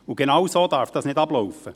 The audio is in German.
Genauso darf es nicht ablaufen.